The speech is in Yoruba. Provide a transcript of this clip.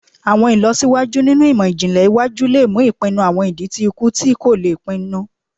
Awọn ilọsiwaju ninu imọ-jinlẹ iwaju le mu ipinnu awọn idi ti iku ti ko le pinnu